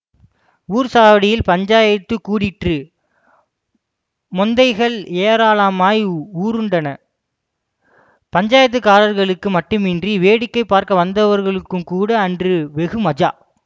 ஊர்ச் சாவடியில் பஞ்சாயத்துக் கூடிற்று மொந்தைகள் ஏராளமாய் உருண்டன பஞ்சாயத்துக்காரர்களுக்கு மட்டுமின்றி வேடிக்கை பார்க்க வந்தவர்களுக்குங்கூட அன்று வெகு மஜா